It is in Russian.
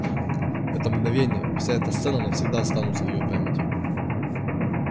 это мгновение вся эта сцена навсегда останутся в её памяти